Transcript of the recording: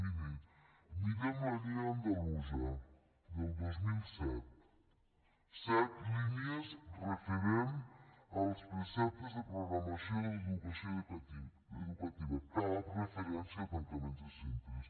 mirin mirem la llei andalusa del dos mil set set línies referents als preceptes de programació d’educació educativa cap referència a tancament de centres